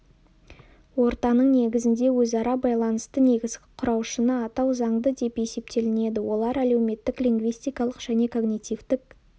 ортаның негізінде өзара байланысты негізгі құраушыны атау заңды деп есептелінеді олар әлеуметтік лингвистикалық және когнитивтік